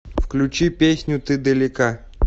включи песню ты далека